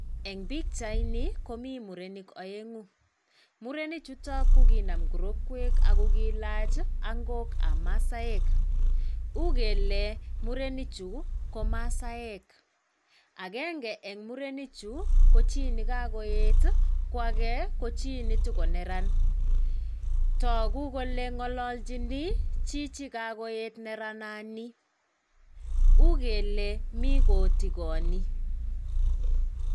En bichaini komii murenik oengu murenichutok kokinam kirokwek ako kiilach ongok ab masaek, ukele muenichuu komasaek agenge en murenichuu kochii nekokoen ko agee kochii netako neran toku kole ngololginii chijii kokoet nerana nii ukele mii kotigonii.